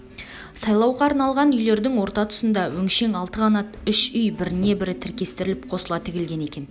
сайлауға арналған үйлердің орта тұсында өңшең алты қанат үш үй бірне-бірі тіркестіріліп қосыла тіглген екен